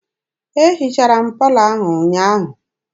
E hichara m palọ ahụ ụnyaahụ.